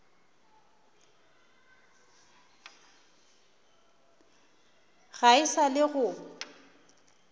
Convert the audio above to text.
ga e sa le go